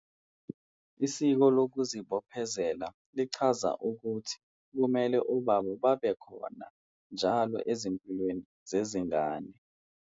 Isiko lokuzibophezela lichaza ukuthi kumele obaba babekhona njalo ezimpilweni zezingane.